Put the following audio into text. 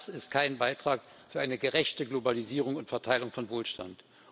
Das ist kein Beitrag für eine gerechte Globalisierung und Verteilung von Wohlstand.